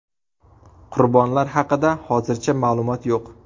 Qurbonlar haqida hozircha ma’lumot yo‘q.